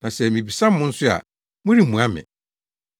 na sɛ mibisa mo nso a, moremmua me.